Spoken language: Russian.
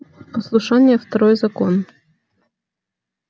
послушание второй закон